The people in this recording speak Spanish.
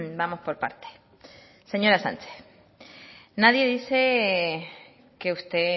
bueno vamos por partes señora sánchez nadie dice que usted